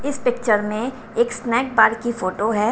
इस पिक्चर में एक स्नैक बार कीफोटो है।